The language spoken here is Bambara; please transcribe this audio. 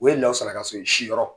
O ye ka sɔrɔ si rɔ.